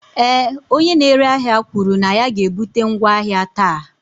ee, onye na-ere ahịa kwuru na ya ga-ebute ngwa ahịa taa